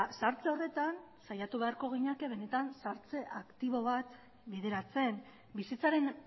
zahartze horretan saiatu beharko ginateke benetan zahartze aktibo bat bideratzen bizitzaren